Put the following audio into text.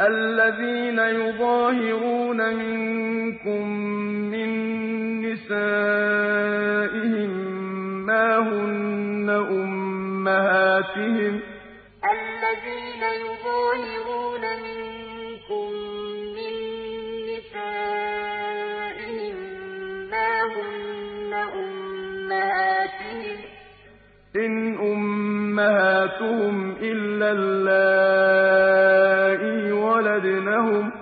الَّذِينَ يُظَاهِرُونَ مِنكُم مِّن نِّسَائِهِم مَّا هُنَّ أُمَّهَاتِهِمْ ۖ إِنْ أُمَّهَاتُهُمْ إِلَّا اللَّائِي وَلَدْنَهُمْ ۚ